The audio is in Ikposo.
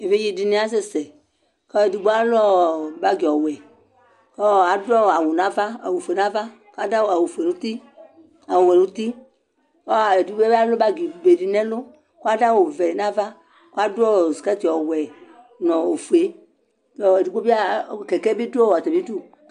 evidze dini asɛsɛkʋ edigbo alʋ ɔɔ bagi ɔwɛ kɔɔ adʋ awu nava, awu ƒue nava kadʋ awu fue ŋuti , awu wɛ nutikʋ edigbo alʋ bagi be nɛlʋ Kʋ adʋ awu vɛ navaAdu ɔɔ skɛt ɔwɛ nu ofue kʋ ɔɔ edigbo biã, kɛkɛ bi dʋ ɔɔ atamidu